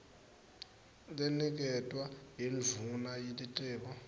leniketwa yindvuna yelitiko